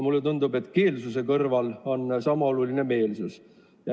Mulle tundub, et keelsuse kõrval on sama oluline ka meelsus.